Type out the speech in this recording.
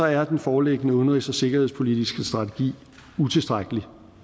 er den foreliggende udenrigs og sikkerhedspolitiske strategi utilstrækkelig